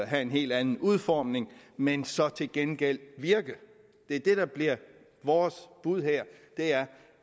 have en helt anden udformning men så til gengæld virke det er det der bliver vores bud her